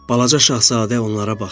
Balaca şahzadə onlara baxdı.